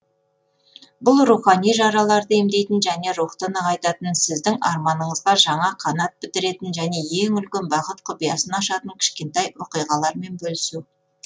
бұл рухани жараларды емдейтін және рухты нығайтатын сіздің арманыңызға жаңа қанат бітіретін және ең үлкен бақыт құпиясын ашатын кішкентай оқиғалармен бөлісу